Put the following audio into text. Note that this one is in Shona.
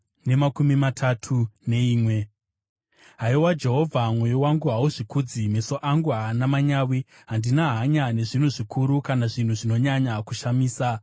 Haiwa Jehovha, mwoyo wangu hauzvikudzi, meso angu haana manyawi; handina hanya nezvinhu zvikuru kana zvinhu zvinonyanya kushamisa.